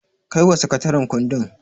Kaiwa sakataren kundin.